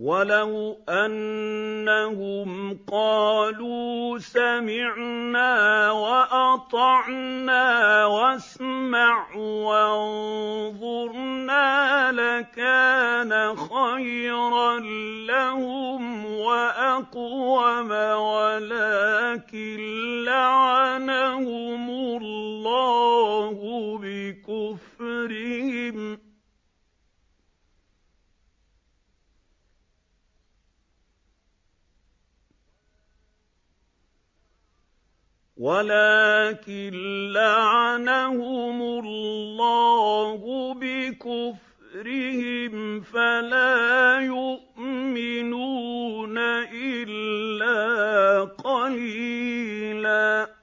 وَلَوْ أَنَّهُمْ قَالُوا سَمِعْنَا وَأَطَعْنَا وَاسْمَعْ وَانظُرْنَا لَكَانَ خَيْرًا لَّهُمْ وَأَقْوَمَ وَلَٰكِن لَّعَنَهُمُ اللَّهُ بِكُفْرِهِمْ فَلَا يُؤْمِنُونَ إِلَّا قَلِيلًا